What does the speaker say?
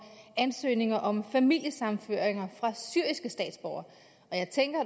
ansøgninger om familiesammenføringer fra syriske statsborgere og jeg tænker